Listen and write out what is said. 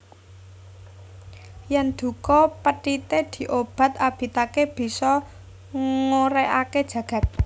Yèn duka pethité diobat abitaké bisa ngoregaké jagad